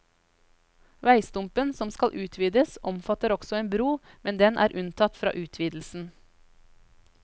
Veistumpen som skal utvides, omfatter også en bro, men den er unntatt fra utvidelsen.